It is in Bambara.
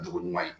Dugu ɲuman ye